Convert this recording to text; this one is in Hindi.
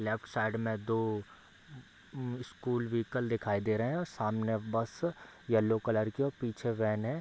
लेफ्ट साइड में दो स्कूल व्हीकल दिखाई दे रहे हैं और सामने बस येल्लो कलर की है पीछे वैन है।